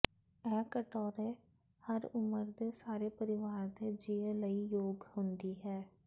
ਇਹ ਕਟੋਰੇ ਹਰ ਉਮਰ ਦੇ ਸਾਰੇ ਪਰਿਵਾਰ ਦੇ ਜੀਅ ਲਈ ਯੋਗ ਹੁੰਦੀ ਹੈ